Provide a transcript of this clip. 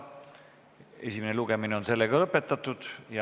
Esimene lugemine on lõppenud.